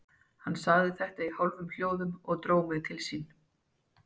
Hann sagði þetta í hálfum hljóðum og dró mig til sín.